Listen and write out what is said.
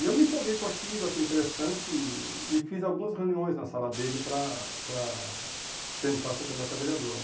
E eu me empolguei com aquilo, achei interessante e e fiz algumas reuniões na sala dele para para tentar ser candidato a vereador.